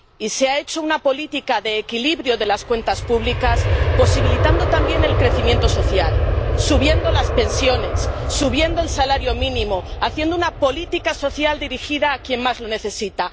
Se ha hecho una política de equilibrio de las cuentas públicas, posibilitando también el crecimiento social subiendo las pensiones, subiendo el salario mínimo, haciendo una política social dirigida a quien más lo necesita.